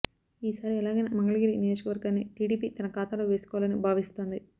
ఈసారి ఎలాగైనా మంగళగిరి నియోజకవర్గాన్ని టీడీపీ తన ఖాతాలో వేసుకోవాలని భావిస్తోంది